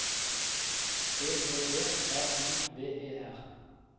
B E D R I V E R